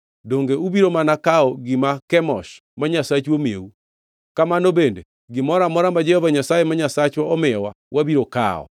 Donge ubiro mana kawo gima Kemosh ma nyasachu omiyou? Kamano bende, gimoro amora ma Jehova Nyasaye ma Nyasachwa omiyowa, wabiro kawo.